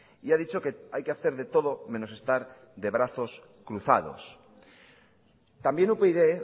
y ha dicho que hay que hacer de todo menos estar de brazos cruzados también upyd